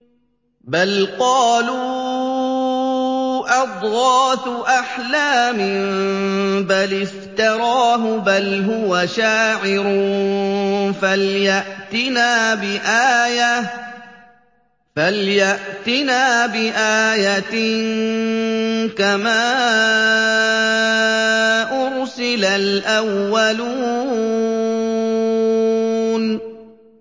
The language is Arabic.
بَلْ قَالُوا أَضْغَاثُ أَحْلَامٍ بَلِ افْتَرَاهُ بَلْ هُوَ شَاعِرٌ فَلْيَأْتِنَا بِآيَةٍ كَمَا أُرْسِلَ الْأَوَّلُونَ